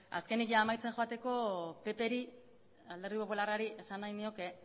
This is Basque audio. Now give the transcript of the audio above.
azkenik amaitzen joateko alderdi popularrari esan nahi nioke